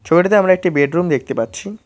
ছবিটিতে আমরা একটি বেডরুম দেখতে পাচ্ছি।